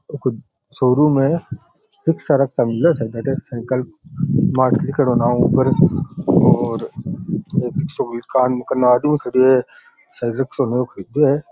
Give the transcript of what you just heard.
एक शोरूम है काम करने वालो आदमी खड्यो है --